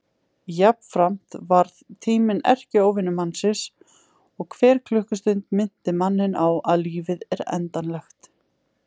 Jafnframt varð tíminn erkióvinur mannsins og hver klukkustund minnti manninn á að lífið er endanlegt.